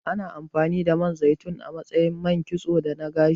Ana amfani da Man zaitun a matsayin man kitso da na gashi.